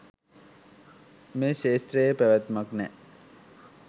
මේ ක්ෂේත්‍රයේ පැවැත්මක් නෑ.